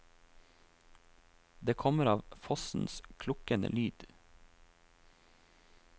Det kommer av fossens klukkende lyd.